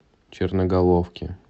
черноголовке